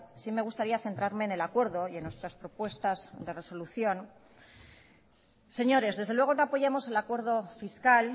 sí me gustaría centrarme en el acuerdo y en nuestras propuestas de resolución señores desde luego no apoyamos el acuerdo fiscal